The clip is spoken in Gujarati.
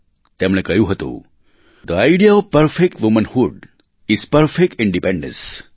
તેમણે કહ્યું હતું the idea of perfect womanhood is perfect independence